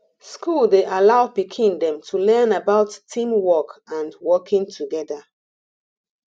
school dey allow pikin dem to learn about team work and working together